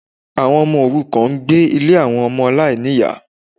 Àwọn ọmọ òrukàn n gbé Ilé àwọn Ọmọ aláìníyà